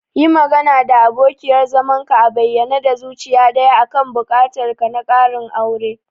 Yi magana da abokiyar zamanka a bayyane da zuciya daya akan buƙatar ka na ƙarin aure.